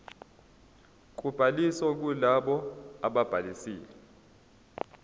kobhaliso kulabo ababhalisile